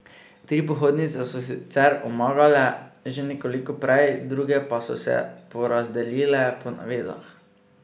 Tri pohodnice so sicer omagale že nekoliko prej, druge pa so se porazdelile po navezah.